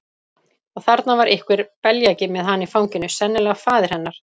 Og þarna var einhver beljaki með hana í fanginu, sennilega faðir hennar.